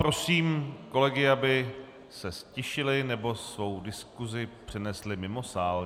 Prosím kolegy, aby se ztišili nebo svou diskusi přenesli mimo sál.